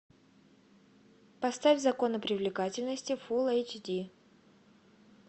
поставь законы привлекательности фулл эйч ди